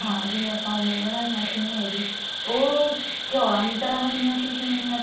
ਹਾਂ ਜੀਵਨ ਆਪਾਂ ਉਵੇਂ ਬਣਾਈਆਂ ਸੀ ਐਵੇ ਈ ਉਹ ਚੋਲਾ ਦੀ ਤਰ੍ਹਾਂ ਬਣੀਆਂ ਸੀ ਸੇਮੀਆਂ